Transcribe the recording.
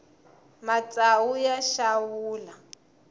matsawu ya xawula